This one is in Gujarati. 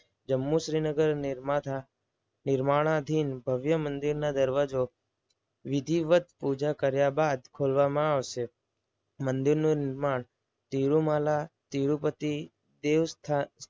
જમ્મુ શ્રીનગર નિર્માતા નિર્માણદીન ભવ્ય મંદિરના દરવાજો વિધિવત પૂજા કર્યા બાદ ખોલવામાં આવશે. મંદિરનું નિર્માણ તિરુમાલા તિરુપતિ દેવસ્થાન